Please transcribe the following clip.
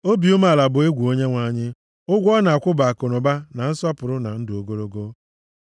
Obi umeala bụ egwu Onyenwe anyị, ụgwọ ọ na-akwụ bụ akụnụba, na nsọpụrụ na ndụ ogologo.